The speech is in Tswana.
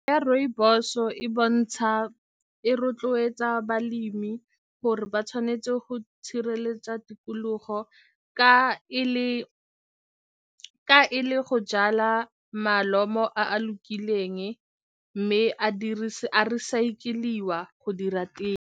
Ya rooibos-o e bontsha e rotloetsa balemi gore ba tshwanetse go tikologo ka e le, ka e le go jala malome a lokileng mme a a recycle-iwa go dira tee.